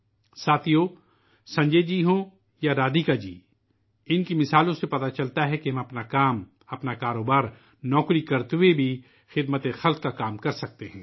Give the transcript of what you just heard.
دوستو، خواہ سنجے جی ہوں یا رادھیکا جی، ان کی مثالیں یہ ثابت کرتی ہیں کہ ہم اپنے روزمرہ کے کام ، اپنا کاروبار اور نوکری کرتے ہوئے بھی خدمت کر سکتے ہیں